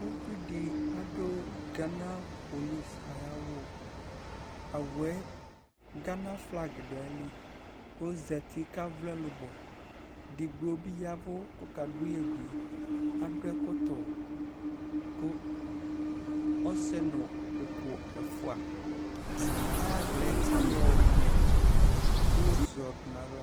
Uvi di adu gana polisi ayu awu awu yɛ gana flag du ayili ɔza uti ku avlɔ ɛlubɔ edigbo bi ya ɛvu ku ɔka duyɛbui adu ɛkɔtu ku ɔsɛ nu uku ɛfua ayaɣla ayɔ blos yɔdu nu aɣla